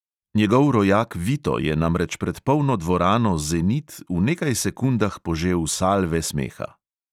Njegov rojak vito je namreč pred polno dvorano zenit v nekaj sekundah požel salve smeha.